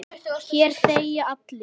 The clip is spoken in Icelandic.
Hér þegja allir.